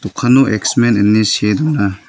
X men ine see don·a.